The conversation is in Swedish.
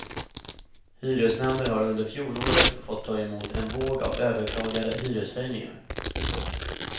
Hyresnämnden har under fjolåret fått ta emot en våg av överklagade hyreshöjningar. punkt